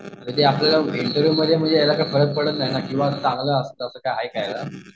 म्हणजे ते इंटरव्हिव्हमध्ये याचा काय फरक पडत नाही ना की बाबा चांगलं असतं असं काय आहे का?